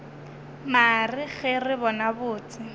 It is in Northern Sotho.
mare ge re bona botse